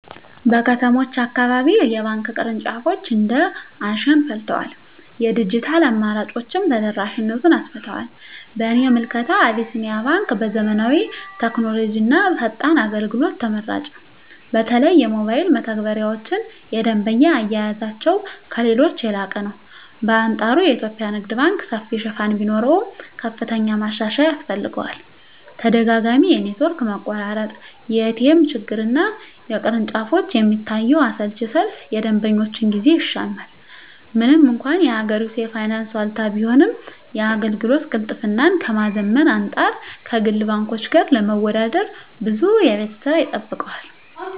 በከተሞች አካባቢ የባንክ ቅርንጫፎች እንደ አሸን ፈልተዋል፤ የዲጂታል አማራጮችም ተደራሽነቱን አሰፍተውታል። በእኔ ምልከታ አቢሲኒያ ባንክ በዘመናዊ ቴክኖሎጂና በፈጣን አገልግሎት ተመራጭ ነው። በተለይ የሞባይል መተግበሪያቸውና የደንበኛ አያያዛቸው ከሌሎች የላቀ ነው። በአንፃሩ የኢትዮጵያ ንግድ ባንክ ሰፊ ሽፋን ቢኖረውም፣ ከፍተኛ ማሻሻያ ያስፈልገዋል። ተደጋጋሚ የኔትወርክ መቆራረጥ፣ የኤቲኤም ችግርና በቅርንጫፎች የሚታየው አሰልቺ ሰልፍ የደንበኞችን ጊዜ ይሻማል። ምንም እንኳን የሀገሪቱ የፋይናንስ ዋልታ ቢሆንም፣ የአገልግሎት ቅልጥፍናን ከማዘመን አንፃር ከግል ባንኮች ጋር ለመወዳደር ብዙ የቤት ሥራ ይጠብቀዋል።